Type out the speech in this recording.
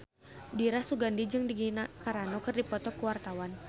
Dira Sugandi jeung Gina Carano keur dipoto ku wartawan